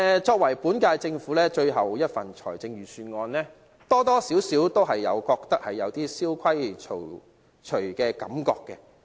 這是本屆政府最後一份預算案，多多少少予人有點蕭規曹隨的感覺。